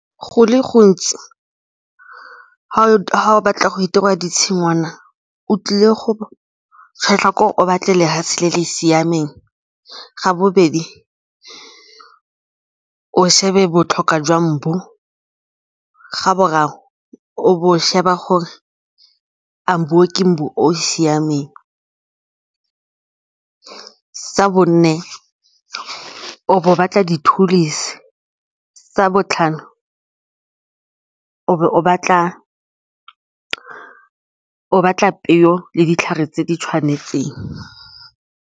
Go le gontsi, ga o batla go ditshingwana o tlile go kgetlha gore o batle lefatshe le le siameng. Sa bobedi, o shebe botlhokwa jwa mbu. Ga boraro o sheba gore a mbu oo ke mbu o o siameng. Sa bone, o bo o batla di . Sa botlhano o bo o batla peo le ditlhare tse di tshwanetseng.